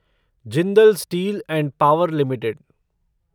Jindal steel and power limited